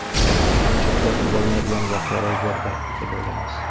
Ko‘pincha tuzatib bo‘lmaydigan voqea ro‘y berdi, deb o‘ylaymiz.